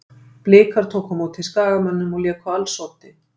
Blikar tóku á móti Skagamönnum og léku á alls oddi.